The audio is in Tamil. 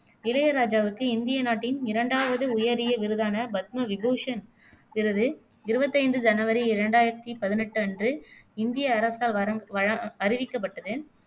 இளையராஜாவுக்கு இந்திய நாட்டின் இரண்டாவது உயரிய விருதான பத்ம விபூஷண் விருது, இருவத்தைந்து ஜனவரி ரெண்டாயிரத்தி பதினெட்டு அன்று இந்திய அரசால் வரங்க் வழ அறிவிக்கப்பட்டது